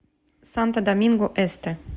санто доминго эсте